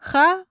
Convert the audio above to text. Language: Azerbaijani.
Xalat.